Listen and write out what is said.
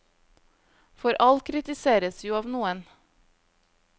For alt kritiseres jo av noen.